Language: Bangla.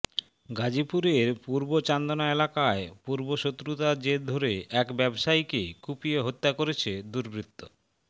গাজীপুরের পূর্ব চান্দনা এলাকায় পূর্ব শত্রুতার জের ধরে এক ব্যবসায়ীকে কুপিয়ে হত্যা করেছে দুর্বৃত